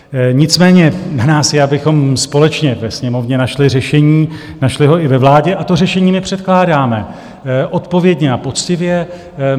Nicméně na nás je, abychom společně ve Sněmovně našli řešení, našli ho i ve vládě, a to řešení my předkládáme, odpovědně a poctivě.